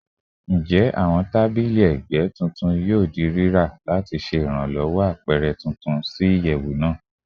Njẹ awọn tabili ẹgbẹ tuntun yoo ra lati ṣe iranlowo apẹrẹ tuntun ti iyẹwu naa?